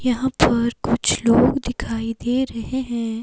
यहां पर कुछ लोग दिखाई दे रहे हैं।